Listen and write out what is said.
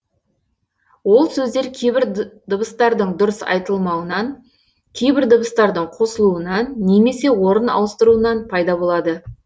ол сөздер кейбір дыбыстардың дұрыс айтылмауынан кейбір дыбыстардың қосылуынан немесе орын ауыстыруынан пайда болады